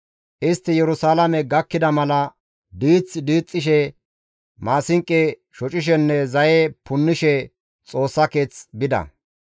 Istti Yerusalaame gakkida mala diith diixxishe, maasinqo shocishenne zaye punnishe Xoossa keeth bida.